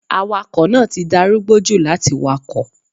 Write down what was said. Awakọ̀ náà ti darúgbó jù láti wakọ̀.